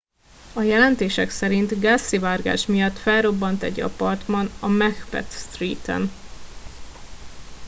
a jelentések szerint gázszivárgás miatt felrobbant egy apartman a macbeth street en